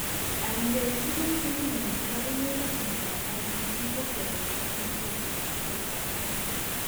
Aenge en tuguk chekingen chepo emet ak miondap IDD ko kepotan en ketetap karitap kasit.